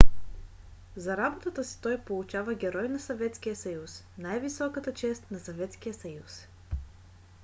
за работата си той получава герой на съветския съюз най-високата чест на съветския съюз